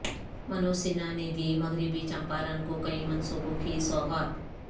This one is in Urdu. منوج سنہا نے دی مغربی چمپارن کو کئی منصوبوں کی سوغات